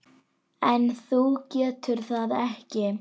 En þú getur það ekki.